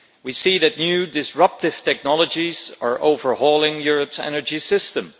We see that new disruptive technologies are overhauling Europe's energy system.